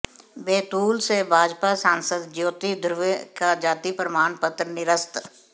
बैतूल से भाजपा सांसद ज्योति धुर्वे का जाति प्रमाण पत्र निरस्त